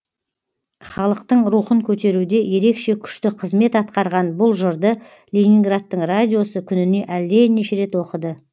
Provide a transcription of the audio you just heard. халықтың рухын көтеруде ерекше күшті қызмет атқарған бұл жырды ленинградтың радиосы күніне әлденеше рет оқыды